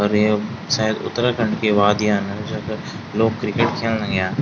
अर य शायद उत्तराखण्ड की वादियाँ न जख लोग क्रिकेट खेन लग्याँ।